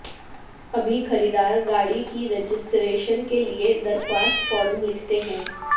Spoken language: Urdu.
ابھی خریدار گاڑی کی رجسٹریشن کے لیے درخواست فارم لکھتے ہیں